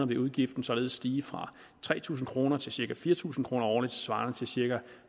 vil udgiften således stige fra tre tusind kroner til cirka fire tusind kroner årligt svarende til cirka